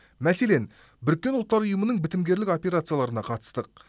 мәселен біріккен ұлттар ұйымының бітімгерлік операцияларына қатыстық